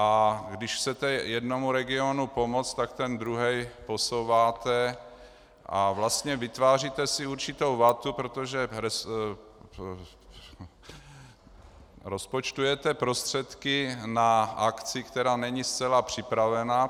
A když chcete jednomu regionu pomoci, tak ten druhý posouváte a vlastně vytváříte si určitou vatu, protože rozpočtujete prostředky na akci, která není zcela připravená.